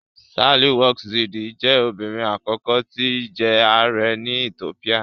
Sahle-Work Zewde jẹ́ obìnrin àkọ́kọ́ tí jẹ ààrẹ́ ní Ethiopia